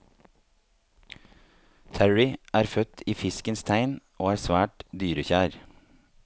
Terrie er født i fiskens tegn og er svært dyrekjær.